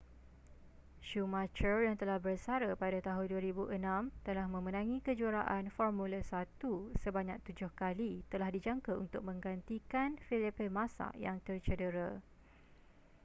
schumacher yang telah bersara pada tahun 2006 setelah memenangi kejuaraan formula 1 sebanyak tujuh kali telah dijangka untuk menggantikan felipe massa yang tercedera